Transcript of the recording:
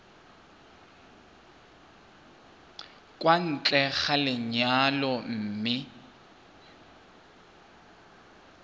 kwa ntle ga lenyalo mme